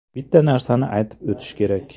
Bitta narsani aytib o‘tish kerak.